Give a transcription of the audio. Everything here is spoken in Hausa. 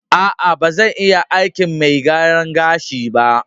A'a, ba zan iya aikin mai gyaran gashi ba.